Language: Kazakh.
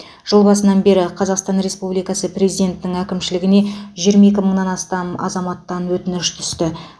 жыл басынан бері қазақстан республикасы президентінің әкімшілігіне жиырма екі мыңнан астам азаматтан өтініш түсті